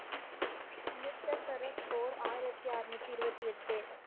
அமிர்த சரஸ் போர் ஆயிரத்தி அரனுதி இருபத்தி எட்டு.